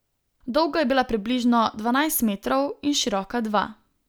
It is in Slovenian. Dolga je bila približno dvanajst metrov in široka dva.